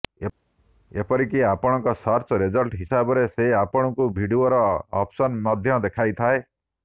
ଏପରିକି ଆପଣଙ୍କ search result ହିସାବରେ ସେ ଆପଣଙ୍କୁ ଭିଡ଼ିଓର ଅପସନ ମଧ୍ୟ ଦେଖାଇଥାଏ